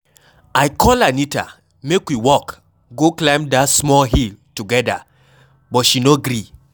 I call Anita make we walk go climb dat small hill together but she no gree.